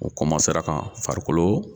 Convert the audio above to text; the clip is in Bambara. O ka farikolo